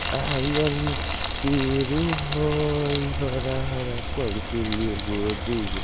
आरी-आरी में पेरू हइ हरा-हरा कइगो पेरू एगो दुगो--